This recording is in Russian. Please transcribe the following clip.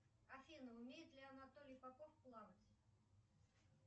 афина умеет ли анатолий попов плавать